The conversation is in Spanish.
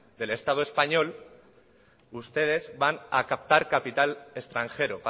del estado español ustedes van a captar capital extranjero